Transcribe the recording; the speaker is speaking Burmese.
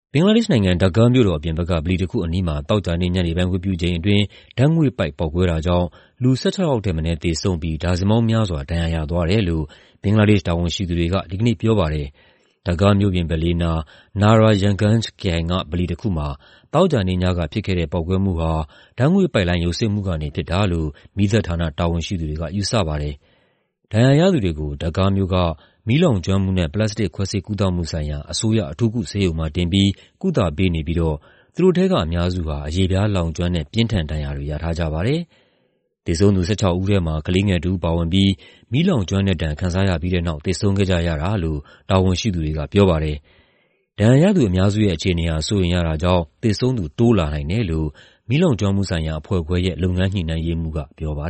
ဘင်္ဂလားဒေ့ရှ်နိုင်ငံ ဒါကားမြို့တော် အပြင်ဘက်က ဗလီတခုအနီးမှာ သောကြာနေ့ ညနေပိုင်း ဝတ်ပြုချိန်အတွင်း ဓာတ်ငွေ့ပိုက် ပေါက်ကွဲတာကြောင့် လူ ၁၆ ယောက်ထက်မနည်း သေဆုံးပြီး ဒါဇင်ပေါင်းများစွာ ဒဏ်ရာရသွားတယ်လို့ ဘင်္ဂလားဒေ့ရှ် တာဝန်ရှိသူတွေက ဒီကနေ့ပြောပါတယ်။ ဒါကားမြို့ပြင်ဘက်လေးနား Narayanganj ခရိုင်က ဗလီတခုမှာ သောကြာနေ့ညက ဖြစ်ခဲ့တဲ့ ပေါက်ကွဲမှုဟာ ဓာတ်ငွေ့ပိုက်လိုင်း ယိုစိမ့်မှုကနေ ဖြစ်တာလို့ မီးသတ်ဌာန တာဝန်ရှိသူတွေက ယူဆပါတယ်။ ဒဏ်ရာရသူတွေကို ဒါကားမြို့က မီးလောင်ကျွမ်းမှုနဲ့ ပလတ်စတစ် ခွဲစိတ်ကုသမှုဆိုင်ရာ အစိုးရ အထူးကုဆေးရုံမှာတင်ပြီး ကုသပေးနေပြီး သူတို့ထဲက အများစုဟာ အရေပြားလောင်ကျွမ်းတဲ့ ပြင်းထန်ဒဏ်ရာတွေ ရထားကြပါတယ်။ သေဆုံးသူ ၁၆ ဦးထဲမှာ ကလေးငယ်တဦးပါဝင်ပြီး မီးလောင်ကျွမ်းတဲ့ဒဏ် ခံစားရပြီးတဲ့နောက် သေဆုံးခဲ့ကြရတာလို့ တာဝန်ရှိသူတွေက ပြောပါတယ်။ ဒဏ်ရာရသူအများစုရဲ့ အခြေအနေဟာ စိုးရိမ်ရတာကြောင့် သေဆုံးသူ တိုးလာနိုင်တယ်လို့ မီးလောင်ကျွမ်းမှုဆိုင်ရာ အဖွဲ့ခွဲရဲ့ လုပ်ငန်းညှိနှိုင်းရေးမှူးက ပြောပါ